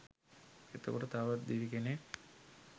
එතකොට තවත් දෙවි කෙනෙක්